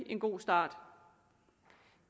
en god start